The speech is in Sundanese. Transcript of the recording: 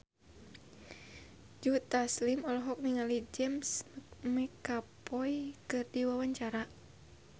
Joe Taslim olohok ningali James McAvoy keur diwawancara